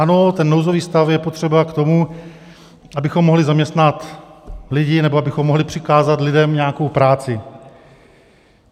Ano, ten nouzový stav je potřeba k tomu, abychom mohli zaměstnat lidi, nebo abychom mohli přikázat lidem nějakou práci.